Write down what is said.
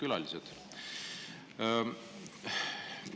Head külalised!